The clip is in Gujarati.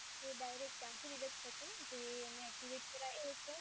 તો direct ત્યાંથી reject થશે, જે એને એક્ટિ